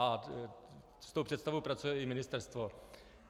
A s tou představou pracuje i ministerstvo.